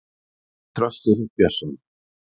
Ég heiti Þröstur Björnsson.